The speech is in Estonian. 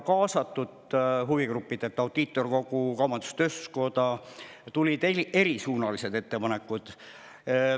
Kaasatud huvigruppidelt, nagu Audiitorkogu ja Eesti Kaubandus-Tööstuskoda, tulid erisuunalised ettepanekud.